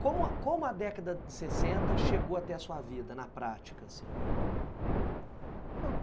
Como como a década de sessenta chegou até a sua vida, na prática, assim?